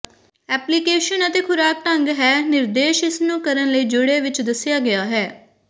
application ਅਤੇ ਖੁਰਾਕ ਢੰਗ ਹੈ ਨਿਰਦੇਸ਼ ਇਸ ਨੂੰ ਕਰਨ ਲਈ ਜੁੜੇ ਵਿਚ ਦੱਸਿਆ ਗਿਆ ਹੈ